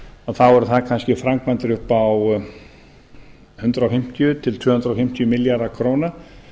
þá eru það kannski framkvæmdir upp á hundrað fimmtíu til tvö hundruð fimmtíu milljarða króna